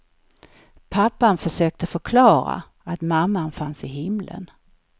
Pappan försökte förklara att mamman fanns i himlen.